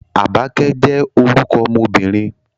Àbákẹ́ jẹ́ orúkọ ọmọ obìnrin